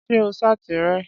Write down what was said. Ṣé o ṣáàtì rẹ̀?